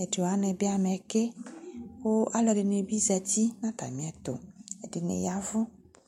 ɛdi wani bi amɛ kɛ kʋ alʋɛdini zati nʋ atami ɛtʋ kʋ ɛdini yavʋ